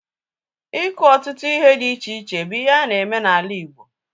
Iku ọtụtụ ihe dị iche iche bụ ihe ana-eme n'ala Igbo